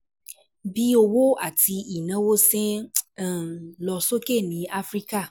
Bí òwò àti ìnáwó ṣe um ń lọ sókè ní Áfíríkà